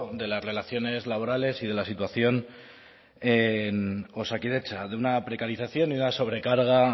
de las relaciones laborales y de la situación en osakidetza de una precarización y una sobrecarga